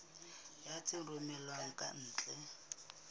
ya tse romellwang ka ntle